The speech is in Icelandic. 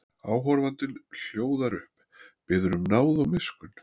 Áhorfandinn hljóðar upp, biður um náð og miskunn.